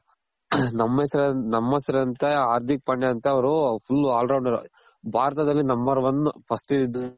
ನಮ್ಮೆಸ್ರ್ ನಮ್ಮೆಸ್ರಂತ ಹಾರ್ದಿಕ್ ಪಾಂಡ್ಯ ಅಂತ ಅವ್ರು full all rounder ಭಾರತದಲ್ಲಿ number one first